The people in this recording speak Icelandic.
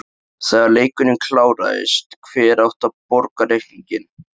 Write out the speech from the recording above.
Þegar leikurinn kláraðist, hver átti að borga reikninginn?